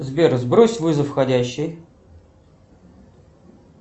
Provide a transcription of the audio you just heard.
сбер сбрось вызов входящий